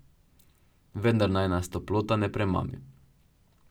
Vendar naj nas toplota ne premami.